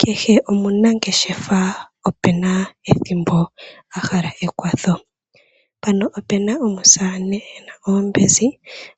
Keshe omunangeshefa ope na ethimbo ahala ekwatho mpano ope na omusamane ena oombezi